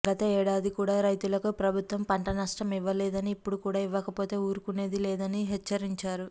గత ఏడాది కూడా రైతులకు ప్రభుత్వం పంటనష్టం ఇవ్వలేదని ఇప్పుడు కూడా ఇవ్వకపోతే ఊరుకునేది లేదని హెచ్చరించారు